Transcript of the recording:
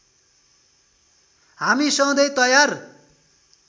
हामी सधैँ तयार